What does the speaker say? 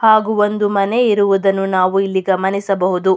ಹಾಗು ಒಂದು ಮನೆ ಇರುವುದನ್ನು ನಾವು ಇಲ್ಲಿ ಗಮನಿಸಬಹುದು.